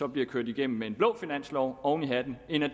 bliver kørt igennem med en blå finanslov oven i hatten end at